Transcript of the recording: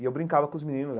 E eu brincava com os meninos.